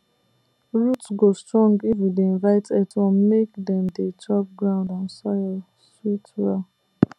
root go strong if we dey invite earthworm make dem dey chop ground and soil sweet well